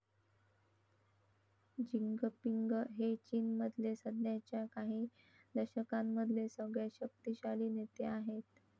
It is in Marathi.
जिंगपिंग हे चीनमधले सध्याच्या काही दशकांमधले सगळ्यात शक्तीशाली नेते आहेत.